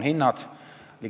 Hinnad.